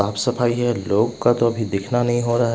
साफ़ सफाई है लोग का तो अभी देखना नहीं हो रहा है।